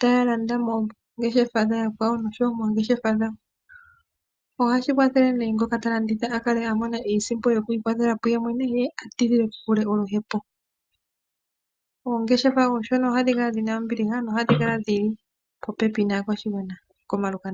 taya landa mongeshefa dha yakwawo noshowo mongeshefa dhawo ohashi kwathele ne ngoka ta landitha a kale mone iisimpo yoku ikwathela kuyemwene ye a tidhile oluhepo. Oongeshefa oshona ohadhi kala dhina ombiliha nohadhikala dhi ili popepi naakwashigwana koomalukanda.